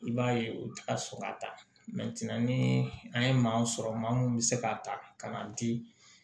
I b'a ye u ti ka sɔrɔ ka taa ni an ye maa sɔrɔ maa mun bɛ se ka ta ka na di